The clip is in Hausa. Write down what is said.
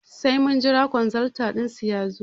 Sai mun jira kwanzaltan dinsu yazo